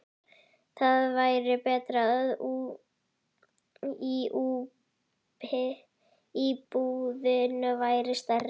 Það væri betra ef íbúðin væri stærri.